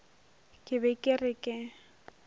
ke be ke re ke